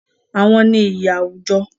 Àwọn ni ìyí àwùjọ.